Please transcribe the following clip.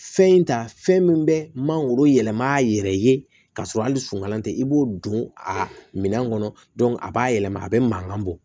Fɛn in ta fɛn min bɛ mangoro yɛlɛma a yɛrɛ ye kasɔrɔ hali sunkalan tɛ i b'o don a minɛn kɔnɔ a b'a yɛlɛma a bɛ mankan bɔ